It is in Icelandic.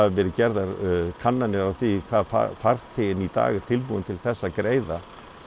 verið gerðar kannanir á því hvað farþeginn í dag er tilbúinn til þess að greiða